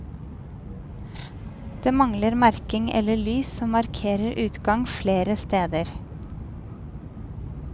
Det mangler merking eller lys som markerer utgang flere steder.